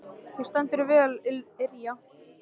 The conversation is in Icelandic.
Þú stendur þig vel, Irja!